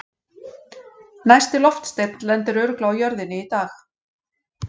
Næsti loftsteinn lendir örugglega á jörðinni í dag!